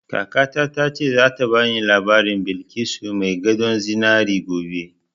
Kakata ta ce za ta bani labarin Balkisu mai gadon zinari gobe